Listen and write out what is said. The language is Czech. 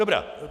Dobrá.